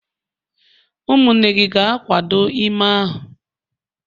umunne gi ga-akwado ime a?